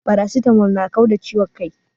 Paracetamol na kau da ciwon kai